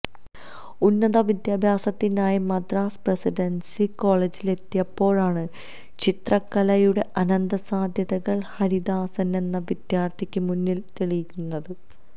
ഉന്നത വിദ്യാഭ്യാസത്തിനായി മദ്രാസ് പ്രസിഡന്സി കോളേജിലെത്തിയപ്പോഴാണ് ചിത്രകലയുടെ അനന്തസാധ്യതകള് ഹരിദാസനെന്ന വിദ്യാര്ത്ഥിക്ക് മുന്നില് തെളിയുന്നത്